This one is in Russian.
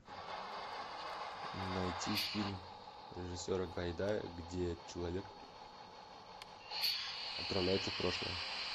найти фильм режиссера гайдая где человек отправляется в прошлое